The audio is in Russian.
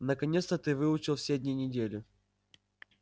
наконец-то ты выучил все дни недели